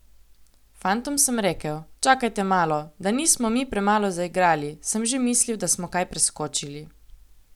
Fantom sem rekel: 'Čakajte malo, da nismo mi premalo zaigrali, sem že mislil, da smo kaj preskočili.